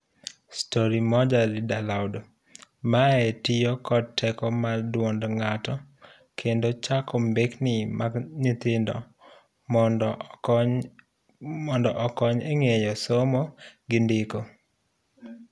Storymoja Read Aloud; Mae tiyo kod teko mar duond ng'ato kendo chuako mbekni mag nyithindo mondo okony eng'eyo somo gi ndiko.